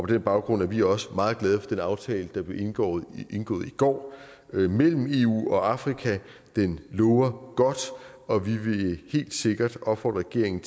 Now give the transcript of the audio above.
den baggrund er vi også meget glade for den aftale der blev indgået indgået i går mellem eu og afrika den lover godt og vi vil helt sikkert opfordre regeringen